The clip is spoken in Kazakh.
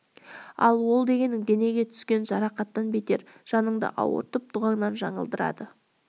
ал ол дегенің денеге түскен жарақаттан бетер жаныңды ауыртып дұғаңнан жаңылдырады